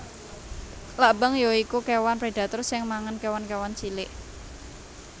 Klabang ya iku kéwan predator sing mangan kéwan kéwan cilik